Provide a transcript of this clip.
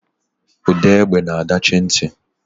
Ude egbe na adachi nti.